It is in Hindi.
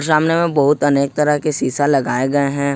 सामने में बहुत अनेक तरह के शीशा लगाए गए हैं।